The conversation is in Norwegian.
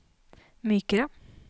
mykere